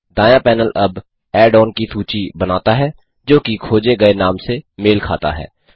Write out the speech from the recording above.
दायाँ पैनल अब add on की सूची बनाता है जो कि खोजे गए नाम से मेल खाता हो